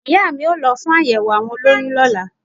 Ìyá a mi o lo fún àyèwò àwọn olóyun lọ́lá